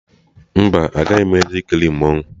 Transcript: Mba, agaghị m eje ikiri mmanwụ